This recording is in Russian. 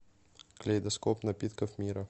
калейдоскоп напитков мира